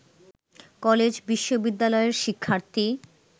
কলেজ-বিশ্ববিদ্যালয়ের শিক্ষার্থী